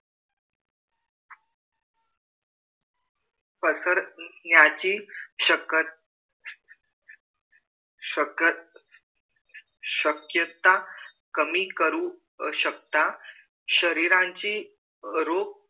पसरण्याची शकत शकत शक्यता कमी करू शकता शरीराची रूप